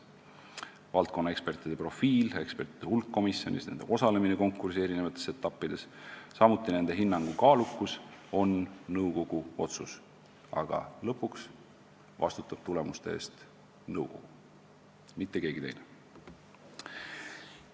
Valdkonnaekspertide profiil, ekspertide hulk komisjonis, nende osalemine konkursi eri etappides, samuti nende hinnangu kaalukus on nõukogu otsus, aga lõpuks vastutab tulemuste eest nõukogu, mitte keegi teine.